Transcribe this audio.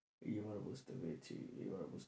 এইবার বুঝতে পেরেছি এইবার বুঝতে,